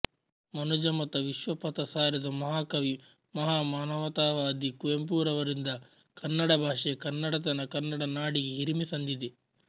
ಮನುಜಮತ ವಿಶ್ವಪಥ ಸಾರಿದ ಮಹಾಕವಿ ಮಹಾ ಮಾನವತಾವಾದಿ ಕುವೆಂಪುರವರಿಂದ ಕನ್ನಡ ಭಾಷೆ ಕನ್ನಡತನ ಕನ್ನಡ ನಾಡಿಗೆ ಹಿರಿಮೆ ಸಂದಿದೆ